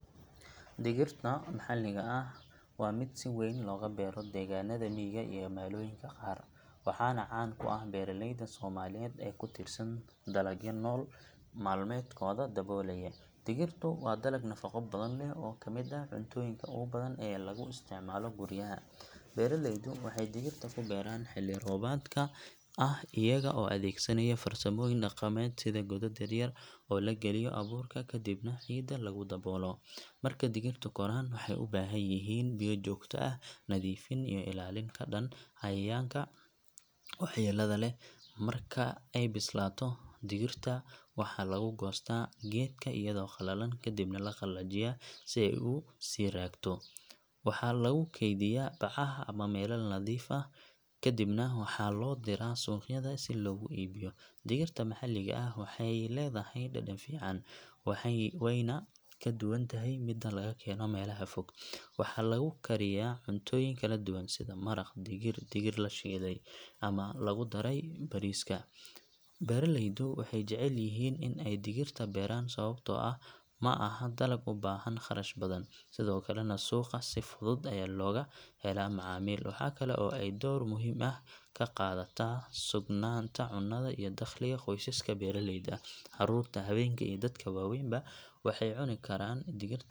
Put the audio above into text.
Digirta maxalliga ah waa mid si weyn looga beero deegaanada miyiga iyo magaalooyinka qaar, waxaana caan ku ah beeraleyda Soomaaliyeed ee ku tiirsan dalagyo nolol maalmeedkooda daboolaya. Digirtu waa dalag nafaqo badan leh oo ka mid ah cuntooyinka ugu badan ee lagu isticmaalo guryaha. Beeraleydu waxay digirta ku beeraan xilli roobaadka ah, iyaga oo adeegsanaya farsamooyin dhaqameed sida godad yaryar oo la galiyo abuurka kadibna ciidda lagu daboolo. Marka digirtu koraan waxay u baahan yihiin biyo joogto ah, nadiifin iyo ilaalin ka dhan ah cayayaanka waxyeellada leh. Marka ay bislaato, digirta waxaa laga goostaa geedka iyadoo qalalan kadibna la qallajiyaa si ay u sii raagto. Waxaa lagu kaydiyaa bacaha ama weelal nadiif ah, kadibna waxaa loo diraa suuqyada si loogu iibiyo. Digirta maxalliga ah waxay leedahay dhadhan fiican, wayna ka duwan tahay midda laga keeno meelaha fog. Waxaa laga kariyaa cuntooyin kala duwan sida maraq digir, digir la shiiday ama lagu daro bariiska. Beeraleydu waxay jecel yihiin in ay digirta beeraan sababtoo ah ma aha dalag u baahan kharash badan, sidoo kalena suuqa si fudud ayaa looga helaa macaamiil. Waxaa kale oo ay door muhiim ah ka qaadataa sugnaanta cunnada iyo dakhliga qoysaska beeraleyda ah. Caruurta, haweenka iyo dadka waaweynba waxay cuni karaan digirta.